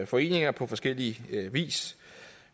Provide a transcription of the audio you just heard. foreninger på forskellig vis